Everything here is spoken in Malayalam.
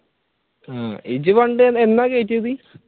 ഇജ്ജ് പണ്ട് എന്നാ കെറ്റിയത്?